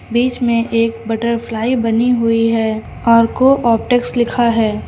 बीच में एक बटरफ्लाई बनी हुई है और को ऑप्टक्स लिखा है।